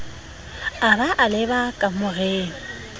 a ba a leba kamoreng